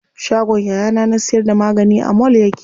Shagon yayana na siyar da magani a mall yake.